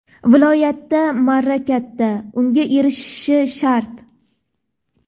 Viloyatda marra katta, unga erishishi shart.